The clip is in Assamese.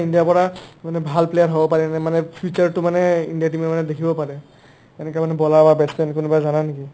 ইণ্ডিয়াৰ পৰা মানে ভাল player হ'ব পাৰে নে নাই মানে future টো মানে ইণ্ডিয়াৰ team য়ে মানে দেখিব পাৰে এনেকা মানে bowler বা batch man কোনোবা জানা নেকি ?